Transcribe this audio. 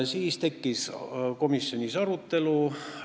Siis tekkis komisjonis arutelu.